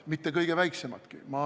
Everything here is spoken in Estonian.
Mitte kõige väiksematki!